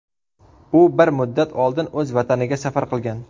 U bir muddat oldin o‘z vataniga safar qilgan.